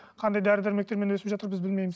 қандай дәрі дәрмектермен өсіп жатыр біз білмейміз